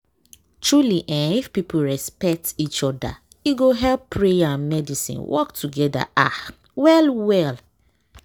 truely eeh if people respect each oda e go help prayer and medicine work togeda ah well well.